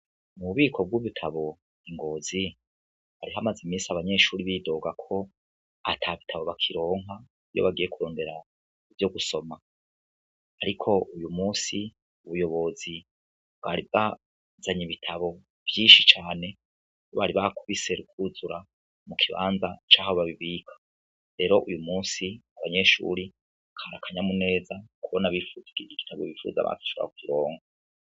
Mu bubiko bw'ibitabu i Ngozi, hari hamaze imisi abanyeshure bidoga ko ata bitabu bakiironka, iyo bagiye ivyo gusoma. Ariko uyu munsi, ubuyobozi bwari bwazanye ibitabu vyinshi cane, bari bakubise ruruzura mu kibanza c'aho babibika. Rero uyu musi abanyeshure, kari akanyamuneza kubona